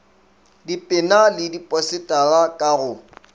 dipena le diposetara ka go